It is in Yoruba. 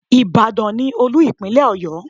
Ìbàdàn ni Olú Ìpínlẹ̀ Ọ̀yọ́.